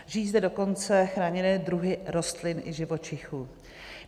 Žijí zde dokonce chráněné druhy rostlin i živočichů.